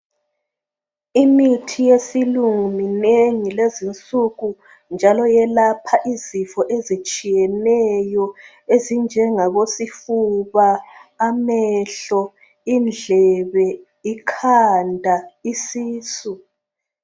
Imithi yesilungu minengi lezinsuku njalo yelapha izifo ezitshiyeneyo ezinjengabo sifuba , amehlo ,indlebe ikhanda ,isisu.